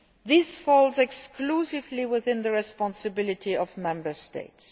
This falls exclusively within the responsibility of the Member States.